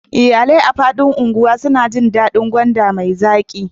Iyalai a faɗin unguwar suna jin daɗin gwanda mai zaƙi